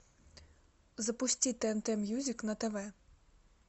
запусти тнт мьюзик на тв